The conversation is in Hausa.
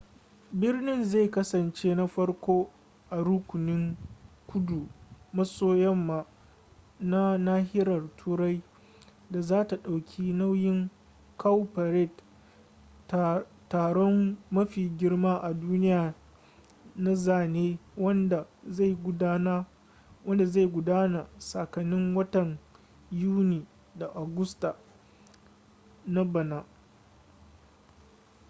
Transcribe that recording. birnin zai kasance na farko a rukunin kudu maso yamma na nahiyar turai da zata dauki nauyin cowparade taron mafi girma a duniya na zane wanda zai gudana tsakanin watan yuni da agusta na bana